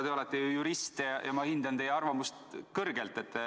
Teie olete ju jurist ja ma hindan teie arvamust kõrgelt.